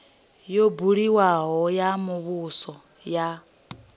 yo buliwaho ya muvhuso ya